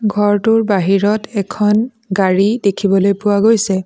ঘৰটোৰ বাহিৰত এখন গাড়ী দেখিবলৈ পোৱা গৈছে।